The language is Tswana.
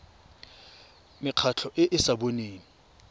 mekgatlho e e sa boneng